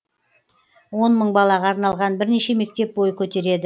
он мың балаға арналған бірнеше мектеп бой көтереді